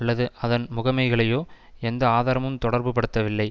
அல்லது அதன் முகமைகளையோ எந்த ஆதாரமும் தொடர்புபடுத்தவில்லை